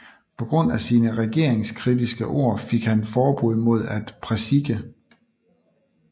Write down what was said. På grund af sine regeringskritiske ord fik han forbud mod at præsike